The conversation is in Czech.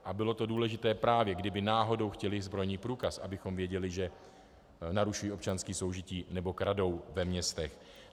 A bylo to důležité, právě kdyby náhodou chtěli zbrojní průkaz, abychom věděli, že narušují občanské soužití nebo kradou ve městech.